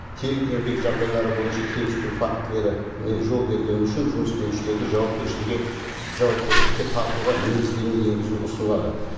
тең еңбек жағдайлары бойынша кемсіту фактілеріне жол бергені үшін жұмыс берушілерді жауапкершілікке тартуға негіздеме енгізу ұсынылады